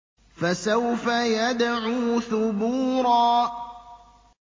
فَسَوْفَ يَدْعُو ثُبُورًا